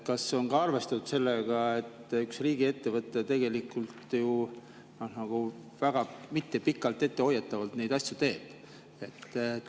Kas on arvestatud sellega, et üks riigiettevõte nagu mitte pikalt ette hoiatades neid asju teeb?